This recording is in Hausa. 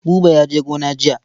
Buba ya je gona jiya.